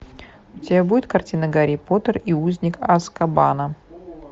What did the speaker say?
у тебя будет картина гарри поттер и узник азкабана